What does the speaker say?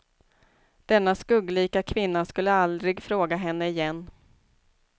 Denna skugglika kvinna skulle aldrig fråga henne igen.